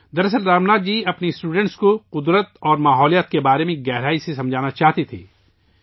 دراصل، رام ناتھ جی اپنے طلباء کو فطرت اور ماحولیات کے بارے میں گہرائی سے سمجھانا چاہتے تھے